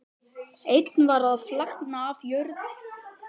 Einn var að flagna frá jörðinni.